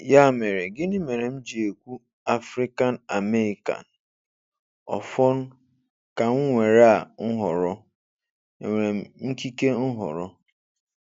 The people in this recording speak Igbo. Ya mere, gịnị mere m ji ekwu Afrịkan Ameị́kan? Ọfọn, ka m nwere a nhọrọ? E nwere m ikike nhọrọ?